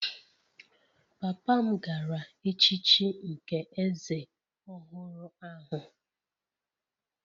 Papa m gara echichi nke eze ọhụrụ ahụ